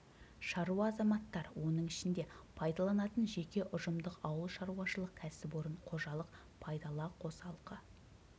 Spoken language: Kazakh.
шаруа азаматтар оның ішінде пайдаланатын жеке ұжымдық ауылшаруашылық кәсіпорын қожалық пайдала қосалқы